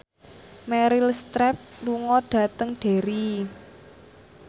Meryl Streep lunga dhateng Derry